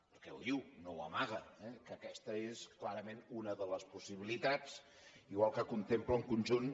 perquè ho diu no ho amaga que aquesta és clarament una de les possibilitats igual que contempla un conjunt